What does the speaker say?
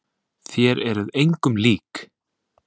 Þér eruð engum lík!